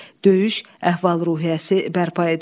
Döyüş əhval-ruhiyyəsi bərpa edildi.